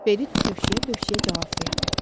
Berit tövşüyə-tövşüyə cavab verdi.